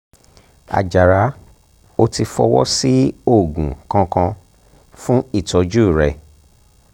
àjàrà ò tíì fọwọ́ sí oògùn kankan fún ìtọ́jú rẹ̀